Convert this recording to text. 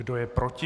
Kdo je proti?